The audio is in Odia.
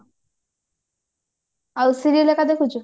ଆଉ serial ହେକା ଦେଖୁଚୁ